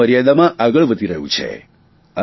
સમય મર્યાદામાં આગળ વધી રહ્યું છે